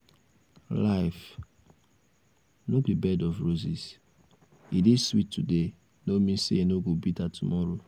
life no be um bed of roses. e dey sweet today no mean say e no go bitter tomorrow